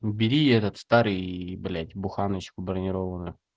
убери этот старый блять буханочку бронированную